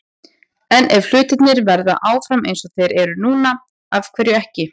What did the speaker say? En ef hlutirnir verða áfram eins og þeir eru núna- af hverju ekki?